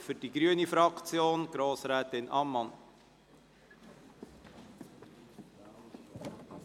Für die grüne Fraktion spricht Grossrätin Ammann.